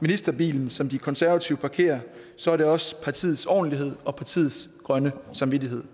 ministerbilen som de konservative parkerer så er det også partiets ordentlighed og partiets grønne samvittighed